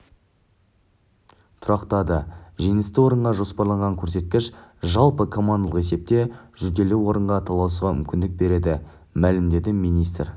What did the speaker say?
тұрақтады жеңісті орынға жоспарланған көрсеткіш жалпы командалық есепте жүлделі орынға таласуға мүмкіндік береді мәлімдеді министр